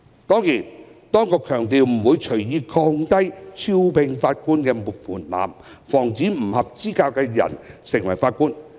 雖然當局強調不會隨意降低招聘法官的門檻，以防止不合資格人士成為法官。